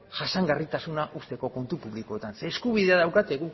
jasangarritasuna uzteko kontu publikoetan zeren eskubidea daukate